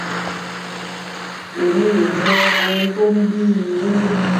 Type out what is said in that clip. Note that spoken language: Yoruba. èmi ò mọ ohun tó ń bí i nínú